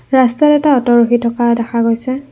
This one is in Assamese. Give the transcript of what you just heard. ৰাস্তাত এটা অটো ৰখি থকা দেখা গৈছে।